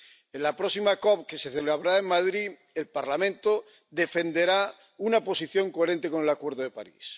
En la próxima COP que se celebrará en Madrid, el Parlamento defenderá una posición coherente con el Acuerdo de París.